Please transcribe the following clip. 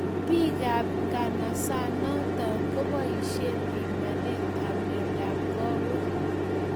Piik ap ng'osossnatet kopoishe pimanet ap miondap kawek